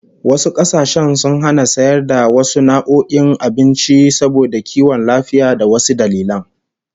Wasu kasashen sun hana sayar da wasu nau'o'in abinci saboda kiwon lafiya ko wasu dalilan